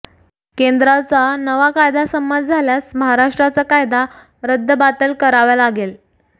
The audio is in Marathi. केंद्राचा नवा कायदा संमत झाल्यास महाराष्ट्राचा कायदा रद्दबातल करावा लागेल